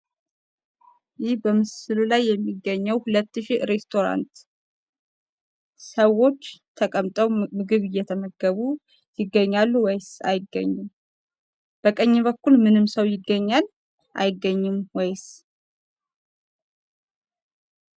ይህ በምስሉ ላይ የሚገኘው ሁለት ሺ ሬስቶራንት ሰዎች ተቀምጠው ምግብ እየተመገቡ ይገኛሉ ወይስ አይገኙም? በቀኝ በኩል ምንም ሰው ይገኛል ወይስ አይገኝም?